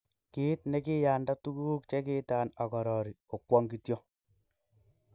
Kit ne kiiyanda tuguk chekiitan agorori, okwong kityok.